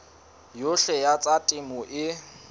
yohle ya tsa temo e